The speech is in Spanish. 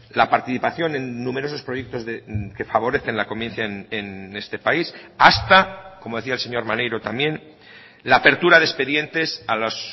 la participación en numerosos proyectos que favorecen la convivencia en este país hasta como decía el señor maneiro también la apertura de expedientes a los